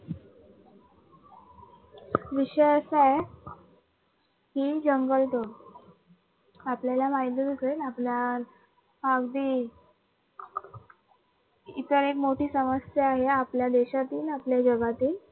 विषय असा आहे की जंगल तोड आपल्याला माहीतच असेल आपल्या हा अगदी ही सर्वात मोठी समस्या आहे आपल्या देशातील आपल्या जगातील